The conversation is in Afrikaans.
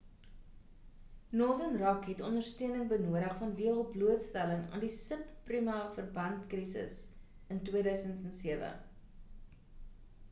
northern rock het ondersteuning benodig vanweë hul blootstelling aan die sub prima verband krisis in 2007